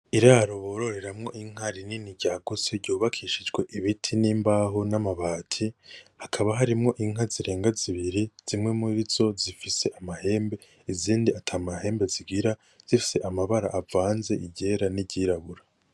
Iraro bororeramwo inka rinini ryagutse ryubakishijwe ibiti n'imbaho n'amabati, hakaba harimwo inka zirenga zibiri, zimwe murizo zifise amahembe izindi ata mahembe zigira zifise amabara avanze iryera n'iryirabura.